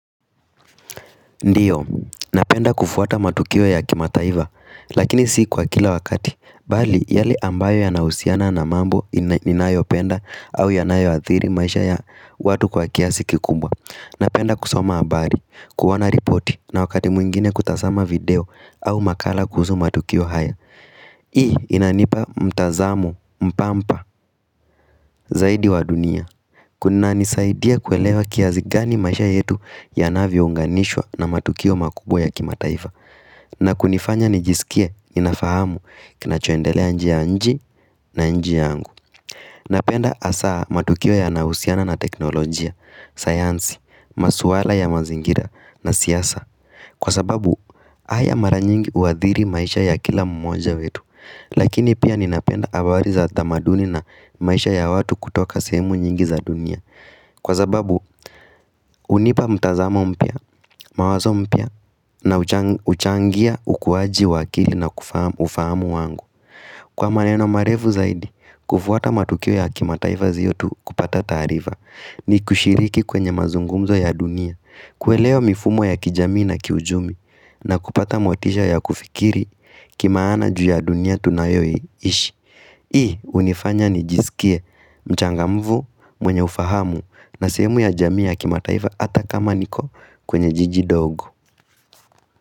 Ndiyo, napenda kufuata matukio ya kimataivlfa, lakini si kwa kila wakati, bali yale ambayo yanahusiana na mambo ninayopenda au yanayo athiri maisha ya watu kwa kiasi kikubwa. Napenda kusoma habari, kuona ripoti na wakati mwingine kutazama video au makala kuhusu matukio haya. Hii inanipa mtazamo mpampa zaidi wa dunia Kuna nisaidia kuelewa kiasi gani maisha yetu yanavyo unganishwa na matukio makubwa ya kimataifa na kunifanya nijisikia inafahamu kinachoendelea nje ya nchi na nje ya angu Napenda asaa matukio yanahusiana na teknolojia, sayansi, maswala ya mazingira na siasa Kwa sababu haya mara nyingi huadhiri maisha ya kila mmoja wetu Lakini pia ninapenda habari za tamaduni na maisha ya watu kutoka sehemu nyingi za dunia Kwa sababu hunipa mtazamo mpya, mawazo mpya na huchangia ukuwaji wa akili na ufahamu wangu Kwa maneno marefu zaidi, kufuata matukio ya kimataiva siyo tu kupata taarifa ni kushiriki kwenye mazungumzo ya dunia Kelewa mifumo ya kijamii na kiuchumi na kupata motisha ya kufikiri Kimaana juu ya dunia tunayoi ishi Hii hunifanya nijisikie mchangamfu mwenye ufahamu na sehemu ya jamii ya kimataifa Ata kama niko kwenye jiji ndogo.